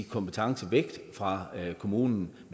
kompetence væk fra kommunen